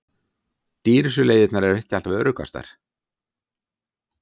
Dýrustu leiðirnar ekki alltaf öruggastar